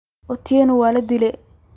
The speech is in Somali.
Otieno waladiley.